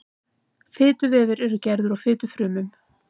fituvefir eru gerðir úr fitufrumum